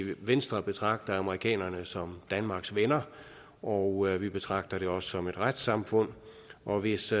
venstre betragter amerikanerne som danmarks venner og vi betragter det også som et retssamfund og hvis